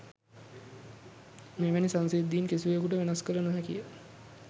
මෙවැනි සංසිද්ධීන් කිසිවකුට වෙනස්කළ නොහැකි ය